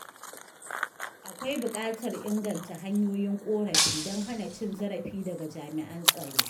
Akwai buƙatar a inganta hanyoyin ƙorafi don hana cin zarafi daga jami’an tsaro.